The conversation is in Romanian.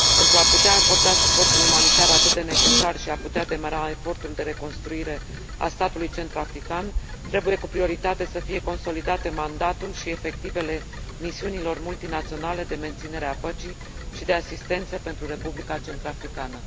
Pentru a putea acorda suportul umanitar, atât de necesar, și pentru a putea demara efortul de reconstruire a statului centrafrican, trebuie, cu prioritate, să fie consolidate mandatul și efectivele misiunilor multinaționale de menținere a păcii și de asistență pentru Republica Centrafricană.